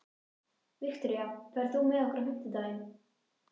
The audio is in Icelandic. Viktoria, ferð þú með okkur á fimmtudaginn?